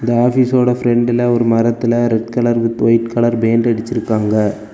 ஆபீஸோட பிரண்ட்ல ஒரு மரத்துல red colour with white colour paint அடிச்சிருக்காங்க.